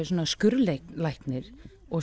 skurðlæknar og